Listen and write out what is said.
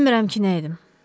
Bilmirəm ki nə edim.